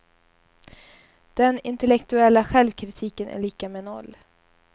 Den intellektuella självkritiken är lika med noll.